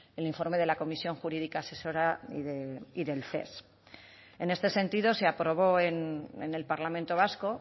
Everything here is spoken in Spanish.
el informe de la comisión jurídica asesora y del ces en este sentido se aprobó en el parlamento vasco